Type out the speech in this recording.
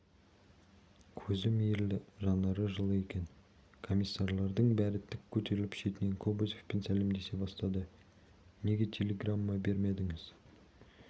көзі мейірлі жанары жылы екен комиссарлардың бәрі тік көтеріліп шетінен кобозевпен сәлемдесе бастады неге телеграмма бермедіңіз